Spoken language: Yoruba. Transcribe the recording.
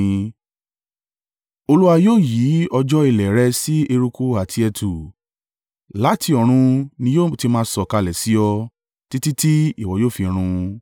Olúwa yóò yí òjò ilẹ̀ rẹ sí eruku àti ẹ̀tù; láti ọ̀run ni yóò ti máa sọ̀kalẹ̀ sí ọ, títí tí ìwọ yóò fi run.